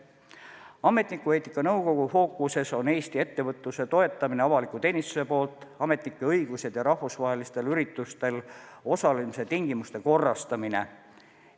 Ametnikueetika nõukogu fookuses on Eesti ettevõtluse toetamine avaliku teenistuse poolt, ametnike õigused ja rahvusvahelistel üritustel osalemise tingimuste korrastamine.